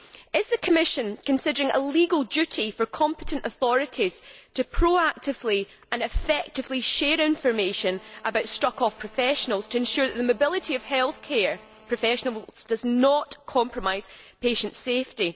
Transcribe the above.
Is the Commission considering a legal duty for competent authorities to proactively and effectively share information about struck off professionals to ensure that the mobility of health care professionals does not compromise patient safety?